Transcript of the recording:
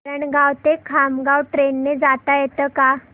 वरणगाव ते खामगाव ट्रेन ने जाता येतं का